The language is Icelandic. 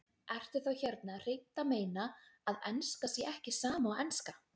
Ertu þá hérna hreint að meina að enska sé ekki sama og enska?